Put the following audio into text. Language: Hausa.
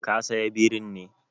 Ka saya birin ne?